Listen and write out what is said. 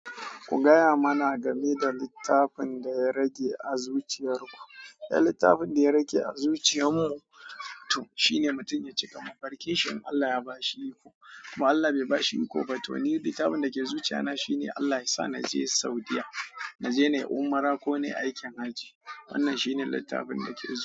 Ku gaya mana game da littafin da ya rage a zuciyar ku. Ya littafin da ya rage a zuciyar mu to shine mutum ya cika. Mabarkacin Allah ya ba shi iko, ko Allah bai ba shi iko ba to ni duk abinda ke zuciya na shine Allah yasa na je Saudiyya, na je na yi umra ko na yi aikin hajji. Wannan shi ne littafin da ke zuciya na.